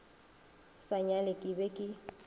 sa nyale ke be ke